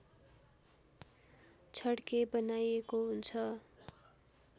छड्के बनाइएको हुन्छ